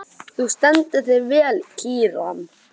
Þú stendur þig vel, Kíran!